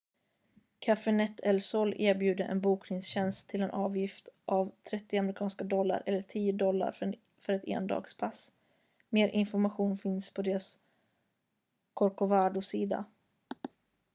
cafenet el sol erbjuder en bokningstjänst till en avgift av 30 amerikanska dollar eller 10 dollar för ett endagspass mer information finns på deras corcovadosida